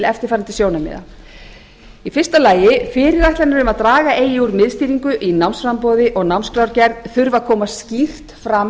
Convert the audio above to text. eftirfarandi sjónarmiða fyrstu fyrirætlanir um að draga eigi úr miðstýringu í námsframboði og námsskrárgerð þurfi að koma skýrt fram